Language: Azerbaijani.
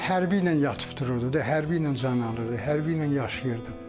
Hərbi ilə yatıb-dururdu, hərbi ilə can alırdı, hərbi ilə yaşayırdı.